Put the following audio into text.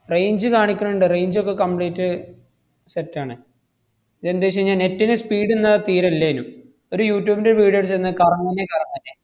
range കാണിക്കണ്ണ്ട് range ഒക്കെ complete set ആണ്. ഇതെന്തേച്ചീന്നാ net ന് speed ഇന്ന് തീരെ ഇല്ലേനു. ഒരു യൂട്യൂബിൻറെ video ഇട്ടിരിന്ന കറങ്ങന്നെ കറങ്ങന്നെ.